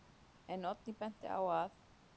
En Oddný benti á að: